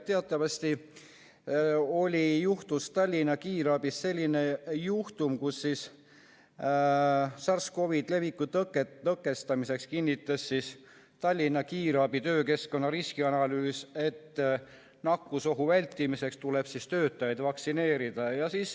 Teatavasti oli Tallinna Kiirabis selline juhtum, et SARS-CoV‑i leviku tõkestamiseks tehtud Tallinna Kiirabi töökeskkonna riskianalüüs kinnitas, et nakkusohu vältimiseks tuleb töötajad vaktsineerida.